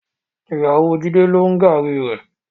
Ìyàwó Jídé ló ń gààrí rẹ.